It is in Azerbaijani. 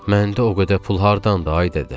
Məndə o qədər pul hardandı, ay dədə?